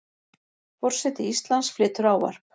Forseti Íslands flytur ávarp.